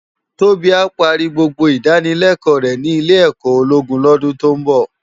Tobi á pàri gbógbó idánilèkò rè ni ilé èkò ólógún lòdún tó n bò